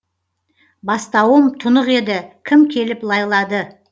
бастауым тұнық еді кім келіп лайлады